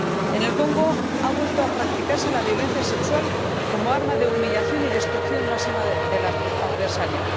En el Congo, ha vuelto a practicarse la violencia sexual como arma de humillación y destrucción máxima del adversario.